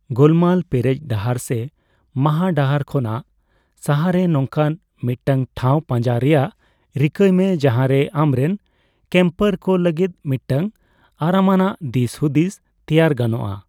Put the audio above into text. ᱜᱳᱞᱢᱟᱞ ᱯᱮᱨᱮᱡ ᱰᱟᱦᱟᱨ ᱥᱮ ᱢᱟᱦᱟ ᱰᱟᱦᱟᱨ ᱠᱷᱚᱱᱟᱜ ᱥᱟᱦᱟᱨᱮ ᱱᱚᱝᱠᱟᱱ ᱢᱤᱫᱴᱟᱝ ᱴᱷᱟᱣ ᱯᱟᱸᱡᱟ ᱨᱮᱭᱟᱜ ᱨᱤᱠᱟᱹᱭ ᱢᱮ ᱡᱟᱦᱟᱸ ᱨᱮ ᱟᱢᱨᱮᱱ ᱠᱮᱢᱯᱟᱨ ᱠᱚ ᱞᱟᱹᱜᱤᱫ ᱢᱤᱫᱴᱟᱝ ᱟᱨᱟᱢᱟᱱᱟᱜ ᱫᱤᱥᱼᱦᱩᱫᱤᱥ ᱛᱮᱭᱟᱨ ᱜᱟᱱᱚᱜᱼᱟ ᱾